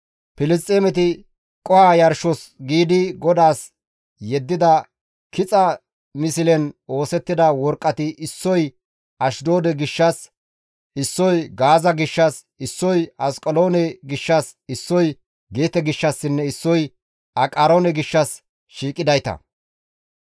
Filisxeemeti qoho yarshos giidi GODAAS yeddida kixa mislen oosettida worqqati issoy Ashdoode gishshas, issoy Gaaza gishshas, issoy Asqeloona gishshas, issoy Geete gishshassinne issoy Aqaroone gishshas shiiqidayta.